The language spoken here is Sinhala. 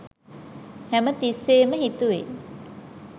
හැමතිස්සේම හිතුවේ